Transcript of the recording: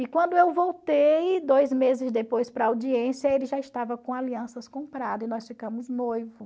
E quando eu voltei, dois meses depois para a audiência, ele já estava com alianças compradas e nós ficamos noivo.